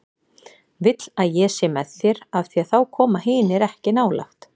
Vill að ég sé með þér af því að þá koma hinir ekki nálægt.